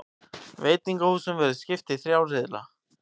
Veitingahúsunum verður skipt í þrjá riðla